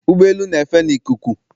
Ụgbọ elu n'efe na ikuku